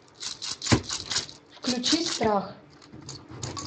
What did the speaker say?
включи страх